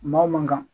Maa man kan